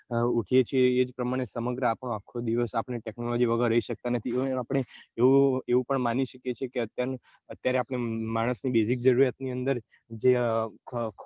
ઉઠીએ છીએ એ પ્રમાણે આપનો આખો દિવસ આપને technology વગર રહી શકતા નથી આપને એવું પણ માનીએ છીએ અત્યારે માણસ ની basic જરૂરીયાત ની અંદર જે અ